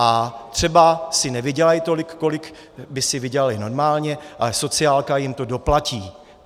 A třeba si nevydělají tolik, kolik by si vydělaly normálně, ale sociálka jim to doplatí.